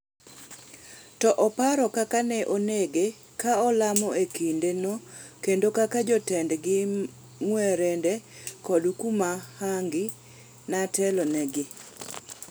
To oparo kaka ne onege ka olamo e kinde no kendo kaka jotendgi Mwerinde kod Komuhangi netelo negi.